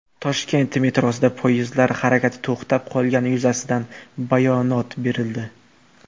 Toshkent metrosida poyezdlar harakati to‘xtab qolgani yuzasidan bayonot berildi.